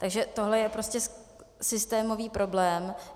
Takže tohle je prostě systémový problém.